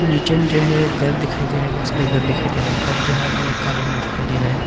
नीचे मुझे है घर दिखाई दे रहा है बहोत सारे घर दिखाई दे रहा है घर जो है अलग अलग कलर में दिखाई दे रहा है।